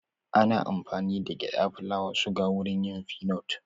Ana amfani da gyada, fulawa ,suga wurin yin finot